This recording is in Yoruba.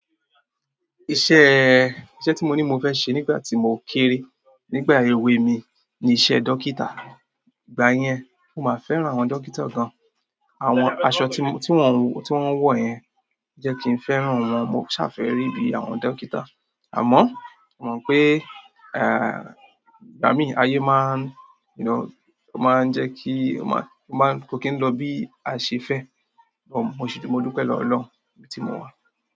Iṣẹ́, iṣẹ́ tí mo ní mo fẹ́ ṣe nígbà tí mò ń kéré nígbà èwe mi ni iṣẹ́ dókítà. Ìgbà yẹn, mo máa fẹ́ràn àwọn dókítà gan. Àwọn aṣọ tí wọ̀n, tí wọ́n ń wọ̀ yẹn jẹ́ kí n fẹ́ràn wọn. Mo ṣàfẹ́rì bí àwọn dókítà. Àmọ́, mo mọ̀ pe ìgbà mí ayé máa n, you know, máa ń jẹ́ kí o máa, o máa n, ko kí n lọ bí a ṣe fẹ́. But mo ṣei, mo dúpẹ́ lọ́wọ́ olohun ibi tí mo wà.